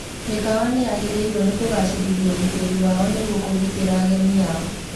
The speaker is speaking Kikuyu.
Mĩkawa nĩyagĩrĩirwo nĩ kũgacĩrithia ũgitĩri wao nĩguo kũgitĩra ageni ao